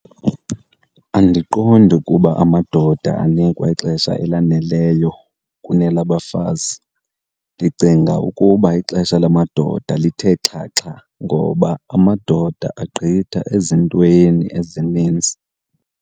Andiqondi ukuba amadoda anikwa ixesha elaneleyo kunelabafazi. Ndicinga ukuba ixesha lamadoda lithe xhaxha ngoba amadoda agqitha ezintweni ezinintsi.